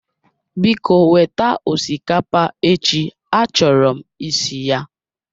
Biko weta osikapa echi a choro m isi ya